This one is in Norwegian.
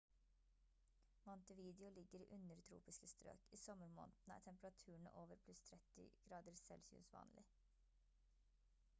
montevideo ligger i undertropiske strøk; i sommermånedene er temperaturene over +30°c vanlig